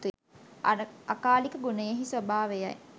අකාලික ගුණයෙහි ස්වභාවයයි.